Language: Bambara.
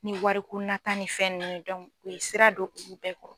Ni wariko nata ni fɛn ninnu u ye sira don olu bɛɛ kɔrɔ.